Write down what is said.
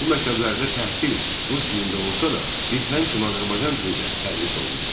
Bu məktəblərdə təhsil rus dilində olsa da, bir fənn kimi Azərbaycan dili də tədris olunurdu.